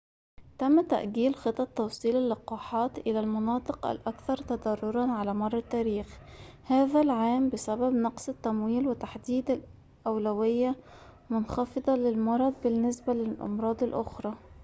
تم تأجيل خطط توصيل اللقاحات إلى المناطق الأكثر تضرراً على مر التاريخ هذا العام بسبب نقص التمويل وتحديد أولوية منخفضة للمرض بالنسبة للأمراض الأخرى